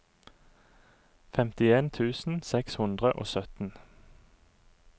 femtien tusen seks hundre og sytten